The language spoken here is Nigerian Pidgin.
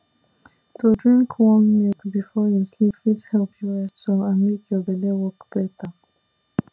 to drink warm milk before you sleep fit help you rest well and make your belle work better